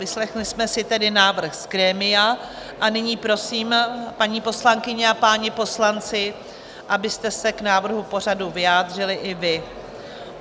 Vyslechli jsme si tedy návrh z grémia a nyní prosím, paní poslankyně a páni poslanci, abyste se k návrhu pořadu vyjádřili i vy.